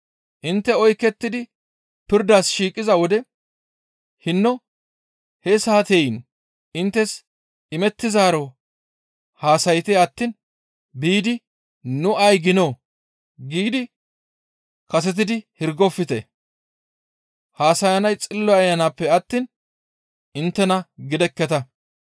Intte oykettidi pirdas shiiqiza wode hinno he saateyin inttes imettizaaro haasayte attiin biidi, ‹Nu ay giinoo?› giidi kaseti hirgofte; haasayanay Xillo Ayanappe attiin inttena gidekketa.